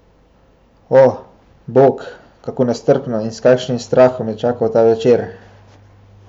O, bog, kako nestrpno in s kakšnim strahom je čakal ta večer.